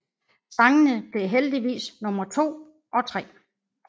Sangene blev henholdsvis nummer 2 og 3